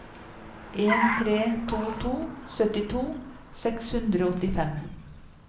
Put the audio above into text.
en tre to to syttito seks hundre og åttifem